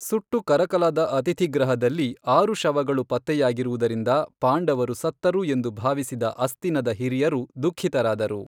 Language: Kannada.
ಸುಟ್ಟು ಕರಕಲಾದ ಅತಿಥಿಗೃಹದಲ್ಲಿ ಆರು ಶವಗಳು ಪತ್ತೆಯಾಗಿರುವುದರಿಂದ ಪಾಂಡವರು ಸತ್ತರು ಎಂದು ಭಾವಿಸಿದ ಅಸ್ತಿನದ ಹಿರಿಯರು ದುಃಖಿತರಾದರು.